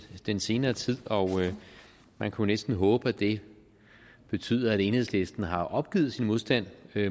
den senere tid og man kunne næsten håbe at det betyder at enhedslisten har opgivet sin modstand